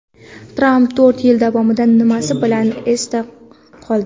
Tramp to‘rt yil davomida nimasi bilan esda qoldi?.